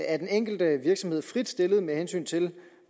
er den enkelte virksomhed frit stillet med hensyn til